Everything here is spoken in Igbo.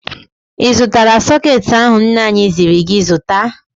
Ị zụtara sọkeetị ahụ nna anyị ziri gị zụta?